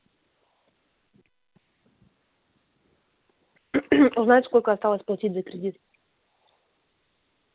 узнать сколько осталось платить за кредит